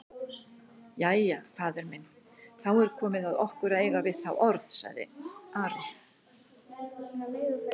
Jæja, faðir minn, þá er komið að okkur að eiga við þá orð, sagði Ari.